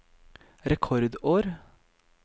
rekordår